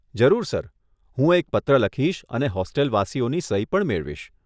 જરૂર સર, હું એક પત્ર લખીશ અને હોસ્ટેલવાસીઓની સહી પણ મેળવીશ.